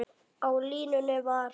Á línunni var